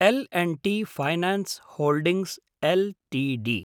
L and T finance holdings Ltd